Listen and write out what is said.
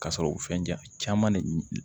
Ka sɔrɔ u fɛn ja caman de